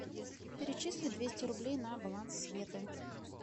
перечисли двести рублей на баланс светы